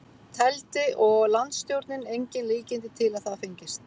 Teldi og landsstjórnin engin líkindi til að það fengist.